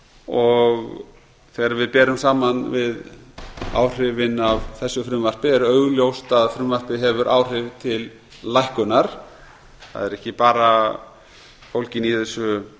og þegar við berum saman við áhrifin af þessu frumvarpi er augljóst að frumvarpið hefur áhrif til lækkunar það eru ekki bara fólgin